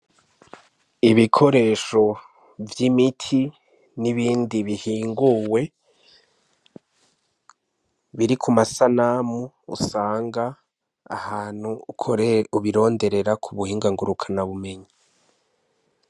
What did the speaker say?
Ibikoresho vy'imiti n'ibindi bihiinguwe, biri ku masanamu usanga ahantu ukoreye ubironderera ku buhinga ngurukanabumenyi.